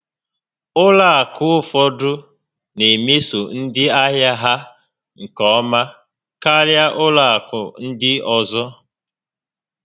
Ụlọ akụ ụfọdụ na emeso ndị ahịa ha nke ọma karịa ụlọ akụ ndị ọzọ